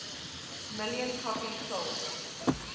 million copies sold